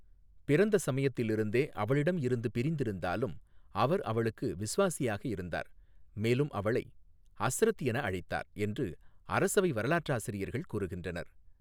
பிறந்த சமயத்தில் இருந்தே அவளிடம் இருந்து பிரிந்திருந்தாலும், அவர் அவளுக்கு விசுவாசியாக இருந்தார், மேலும் அவளை ஹஸ்ரத் என அழைத்தார் என்று அரசவை வரலாற்றாசிரியர்கள் கூறுகின்றனர்.